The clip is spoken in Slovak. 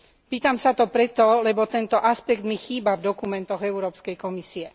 Pýtam sa to preto, lebo tento aspekt mi chýba v dokumentoch Európskej komisie.